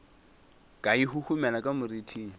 ka e huhumela ka moriting